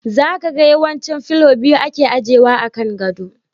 Za ka ga yawanci fillo biyu ake ajewa a kan gado.